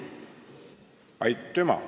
Aitüma!